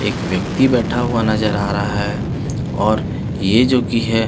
एक व्यक्ति बैठा हुआ नजर आ रहा है और ये जो की हे।